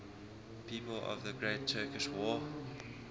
people of the great turkish war